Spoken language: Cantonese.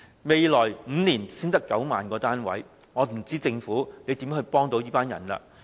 未來5年才只提供9萬個單位，我真不知道政府能如何幫助他們。